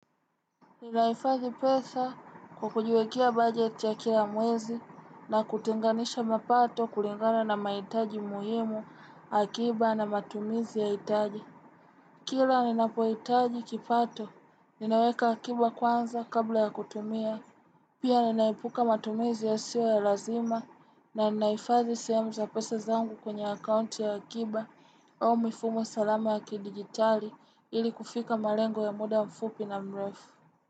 Ninahifadhi pesa kwa kujiwekea budget ya kila mwezi na kutinganisha mapato kulingana na mahitaji muhimu akiba na matumizi ya hitaji. Kila ninapo hitaji kipato, ninaweka akiba kwanza kabla ya kutumia. Pia ninaepuka matumizi yasio ya lazima na ninaifadhi sehemu za pesa zangu kwenye akaunti ya akiba au mifumo salama ya kidigitali ili kufika malengo ya muda mfupi na mrefu.